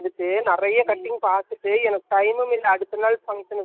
என்னக்கு தப்பா வந்துடுமோன்னு வேற துணியில இது .பார்த்திங்களா